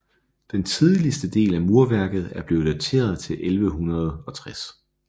Den tidligste del af murværket er blevet dateret til 1160